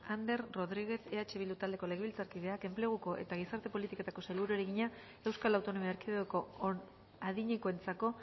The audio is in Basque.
ander rodriguez lejarza eh bildu taldeko legebiltzarkideak enpleguko eta gizarte politiketako sailburuari egina euskal autonomia erkidegoko adinekoentzako